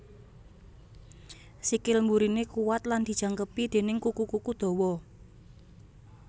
Sikil mburiné kuwat lan dijangkepi déning kuku kuku dawa